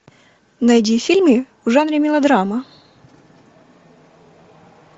найди фильмы в жанре мелодрама